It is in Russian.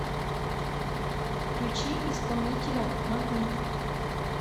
включи исполнителя магнит